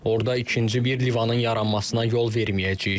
Orada ikinci bir lıvanın yaranmasına yol verməyəcəyik.